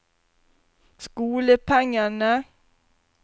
skolepengene